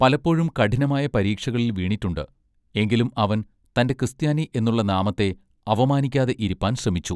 പലപ്പോഴും കഠിനമായ പരീക്ഷകളിൽ വീണിട്ടുണ്ട് എങ്കിലും അവൻ തന്റെ ക്രിസ്ത്യാനി എന്നുള്ള നാമത്തെ അവമാനിക്കാതെ ഇരിപ്പാൻ ശ്രമിച്ചു.